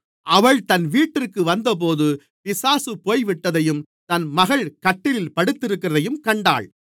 அவள் தன் வீட்டிற்கு வந்தபொழுது பிசாசு போய்விட்டதையும் தன் மகள் கட்டிலில் படுத்திருக்கிறதையும் கண்டாள்